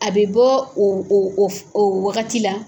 A bɛ bɔ o o o waagati la.